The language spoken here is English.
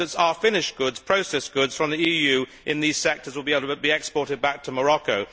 We hope that our finished goods, processed goods from the EU in these sectors, will be exported back to Morocco.